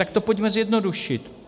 Tak to pojďme zjednodušit.